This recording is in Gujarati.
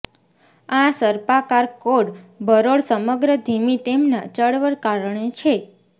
આ સર્પાકાર કોર્ડ બરોળ સમગ્ર ધીમી તેમના ચળવળ કારણે છે